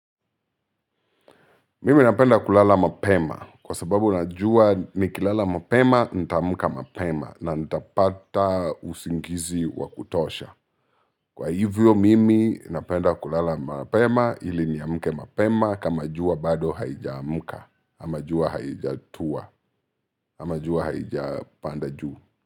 Mimi napenda kulala mapema kwa sababu najua nikilala mapema, nita amka mapema na nitapata usingizi wa kutosha. Kwa hivyo mimi napenda kulala mapema ili niamke mapema kama jua bado haija amka ama jua haijatua ama jua haijapanda juu.